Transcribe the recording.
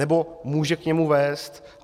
Nebo může k němu vést.